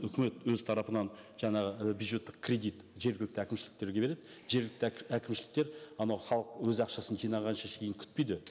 үкімет өз тарапынан жаңағы і бюджеттік кредит жергілікті әкімшіліктерге береді жергілікті әкімшіліктер анау халық өз ақшасын жинағанша шейін күтпейді